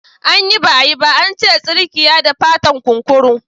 Anyi ba’a yi ba ba ance tsirkiyada fatan kunkuru.